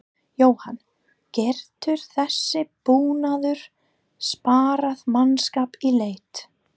Jóhann: Getur þessi búnaður sparað mannskap í leit?